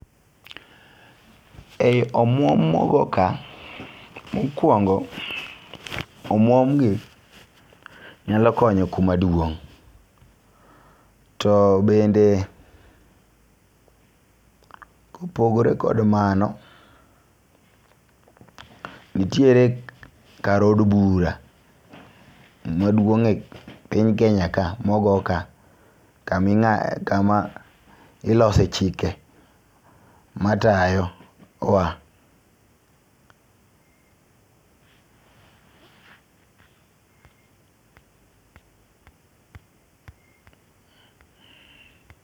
Ei omwom mogo kaa mokwongo, omwom ni nyalo konyo kuma duong' . To bende kopogore kod mano, nitiere kar od bura maduong' e Piny Kenya ka mogo ka kami ng'a kama ilose chike matayo wa